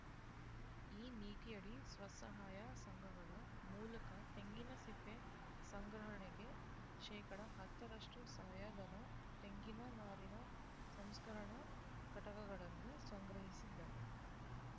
ಈ ನೀತಿಯಡಿ ಸ್ವಸಹಾಯ ಸಂಘಗಳ ಮೂಲಕ ತೆಂಗಿನ ಸಿಪ್ಪೆ ಸಂಗ್ರಹಣೆಗೆ ಶೇಕಡಾ ಹತ್ತರಷ್ಟು ಸಹಾಯಧನ ತೆಂಗಿನ ನಾರಿನ ಸಂಸ್ಕರಣಾ ಘಟಕಗಳನ್ನು ಸಂಗ್ರಹಿಸಿದರೆ